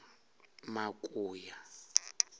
makuya